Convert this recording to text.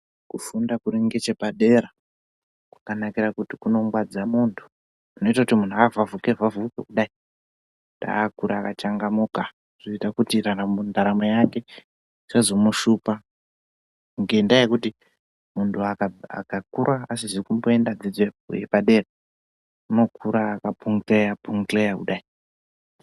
Kufunda kuri ngechepadera kwakanakira kuti kunongwadza muntu kunoita kuti muntu avhavhuke vhavhuke kudai akure akachangamuka kuitira ndaramo yake isazomushupa ngendaya yekuti muntu akakura asizi kumboenda dzidzo yepadera unokura akapungeya pungeya kudai.